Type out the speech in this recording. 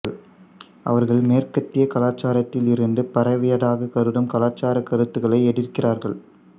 அவர்கள் மேற்கத்திய கலாச்சாரத்திலிருந்து பரவியதாக கருதும் கலாச்சாரக் கருத்துக்களை எதிர்க்கிறார்கள்